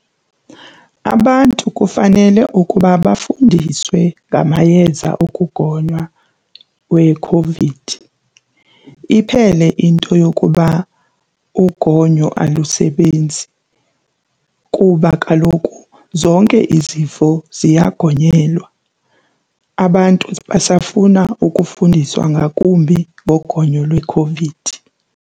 Abantu kufanele ukuba bafundiswe ngamayeza okugonywa weCOVID iphele into yokuba ugonyo alusebenzi kuba kaloku zonke izifo ziyagonyelwa. Abantu basafuna ukufundiswa ngakumbi ngogonyo lweCOVID.